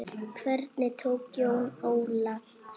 Hvernig tókst Jóni Óla það?